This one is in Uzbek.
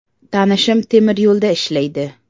Tanishim temiryo‘lda ishlaydi.